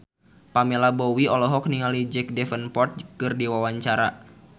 Pamela Bowie olohok ningali Jack Davenport keur diwawancara